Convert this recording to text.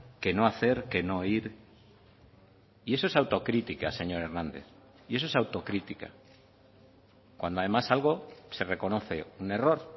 que no hacer que no ir y eso es autocrítica señor hernández y eso es autocrítica cuando además algo se reconoce un error